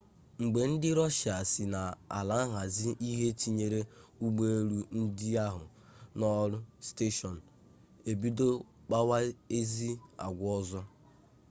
mgbe ndị rọshia si n'ala ahazi ihe tinyere ụgbọelu ndị ahụ n'ọrụ steshọn ebido kpawa ezi agwa ọzọ